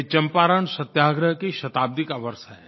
यह चंपारण सत्याग्रह की शताब्दी का वर्ष है